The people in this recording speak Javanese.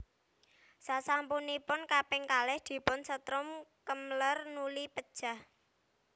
Sasampunipun kaping kalih dipun setrum Kemmler nuli pejah